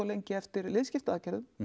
lengi eftir liðskiptaaðgerðum